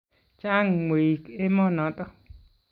chang mweik emonoto